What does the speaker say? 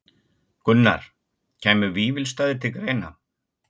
Gunnar: Kæmu Vífilsstaðir til greina?